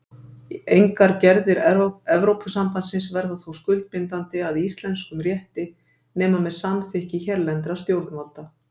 Engar gerðir Evrópusambandsins verða þó skuldbindandi að íslenskum rétti nema með samþykki hérlendra stjórnvalda.